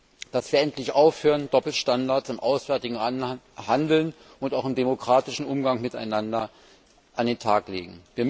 Wir müssten endlich aufhören, Doppelstandards im auswärtigen Handeln und auch im demokratischen Umgang miteinander an den Tag zu legen.